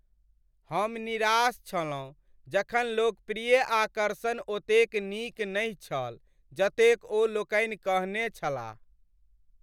हम निराश छलहुँ जखन लोकप्रिय आकर्षण ओतेक नीक नहि छल जतेक ओ लोकनि कहने छलाह ।